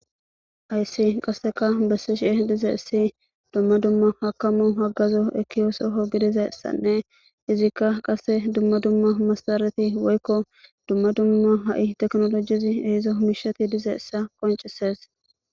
Aysi qasseka besse shie dize essi dumma dumma hakamu haggazo ekiyoosoho gidizayssanne izikka qase dumma dumma massareti woykko dumma dumma ha7i teknolojizi ehezo humishati dizeessa qoncises.